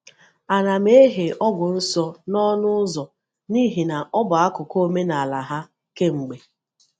A na m ehè ogwù nso n’ọnụ ụzọ n’ihi na ọ bụ akụkụ omenala ha kemgbe.